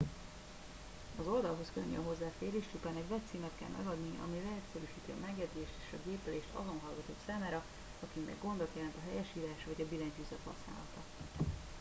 az oldalhoz könnyű a hozzáférés csupán egy webcímet kell megadni ami leegyszerűsíti a megjegyzést és a gépelést azon hallgatók számára akiknek gondot jelent a helyesírás vagy a billentyűzet használata